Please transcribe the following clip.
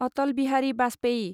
Atal Bihari Vajpayee